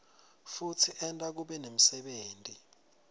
futsi enta kube nemsebenti